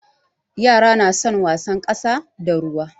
Yara na son wasan ƙasa da ruwa.